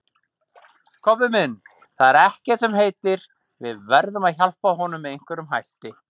Kobbi minn, það er ekkert sem heitir, við verðum að hjálpa honum með einhverjum hætti